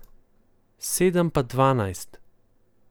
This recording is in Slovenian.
Sedem pa dvanajst.